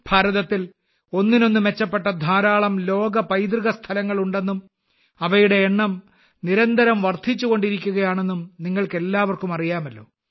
ഇന്ത്യയിൽ ഒന്നിനൊന്നു മെച്ചപ്പെട്ട ധാരാളം ലോക പൈതൃക സ്ഥലങ്ങൾ ഉണ്ടെന്നും അവയുടെ എണ്ണം നിരന്തരം വർദ്ധിച്ചുകൊണ്ടിരിക്കുകയാണെന്നും നിങ്ങൾക്കെല്ലാവർക്കും അറിയാമല്ലോ